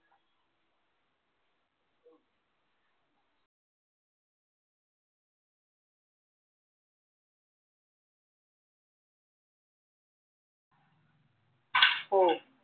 हो